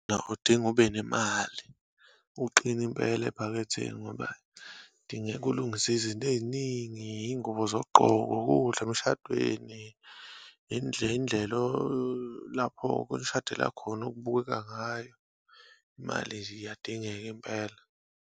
Udinga ube nemali, uqine impela ephaketheni, ngoba kudingeka ulungise izinto eyiningi. Iyingubo zokugqoka, ukudla emshadweni, indlu indlelo lapho kunishadela khona okubukeka ngayo. Imali nje iyadingeka impela.